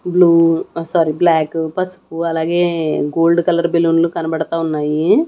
Blue ఆ sorry black పసుపు అలాగే గోల్డ్ కలర్ బెలూన్లు కనబడతా ఉన్నాయి.